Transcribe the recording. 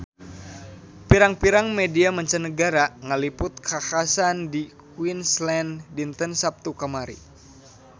Pirang-pirang media mancanagara ngaliput kakhasan di Queensland dinten Saptu kamari